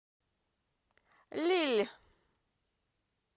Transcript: лилль